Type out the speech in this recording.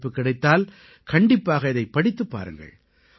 வாய்ப்பு கிடைத்தால் கண்டிப்பாக இதைப் படித்துப் பாருங்கள்